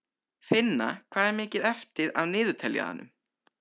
Finna, hvað er mikið eftir af niðurteljaranum?